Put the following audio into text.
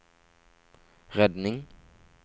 redning